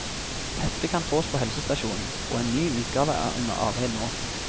Heftet kan fås på helsestasjonen, og en ny utgave er under arbeid nå.